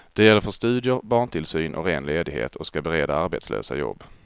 Det gäller för studier, barntillsyn och ren ledighet och skall bereda arbetslösa jobb.